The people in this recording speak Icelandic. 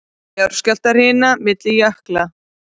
Jarðskjálftahrina milli jökla